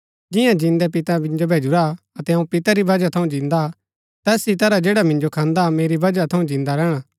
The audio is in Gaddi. जियां जिन्दै पितै मिन्जो भैजुरा अतै अऊँ पितै री बजह थऊँ जिन्दा हा तैस ही तरह जैडा मिन्जो खान्दा मेरी बजह थऊँ जिन्दा रैहणा